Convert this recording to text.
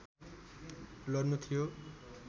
लड्नु थियो